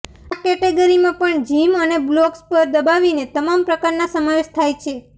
આ કૅટેગરીમાં પણ જિમ અને બ્લોક્સ પર દબાવીને તમામ પ્રકારના સમાવેશ થાય છે